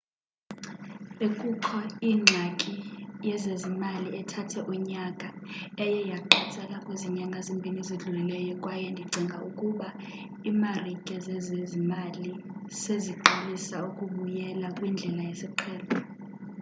bekukho ingxaki yezezimali ethathe unyaka eye yaqatsela kwezi nyanga zimbini zidlulileyo kwaye ndicinga ukuba iimarike zezezimali seziqalisa ukubyela kwindlela yesiqhelo